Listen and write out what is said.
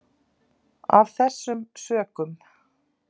Af þessum sökum.